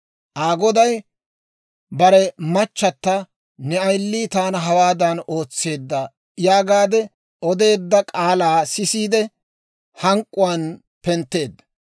Aa goday bare machata, «Ne ayilii taana hawaadan ootseedda» yaagaadde odeedda k'aalaa sisiide, hank'k'uwaan pentteedda.